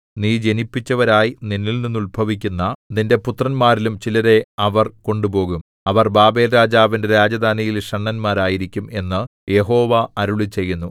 നീ ജനിപ്പിച്ചവരായി നിന്നിൽനിന്ന് ഉത്ഭവിക്കുന്ന നിന്റെ പുത്രന്മാരിലും ചിലരെ അവർ കൊണ്ടുപോകും അവർ ബാബേൽരാജാവിന്റെ രാജധാനിയിൽ ഷണ്ഡന്മാരായിരിക്കും എന്നു യഹോവ അരുളിച്ചെയ്യുന്നു